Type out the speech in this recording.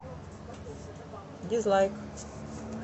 дизлайк